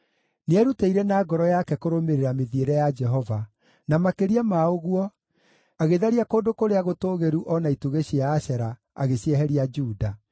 Nĩerutĩire na ngoro yake kũrũmĩrĩra mĩthiĩre ya Jehova; na makĩria ma ũguo, agĩtharia kũndũ kũrĩa gũtũũgĩru o na itugĩ cia Ashera, agĩcieheria Juda.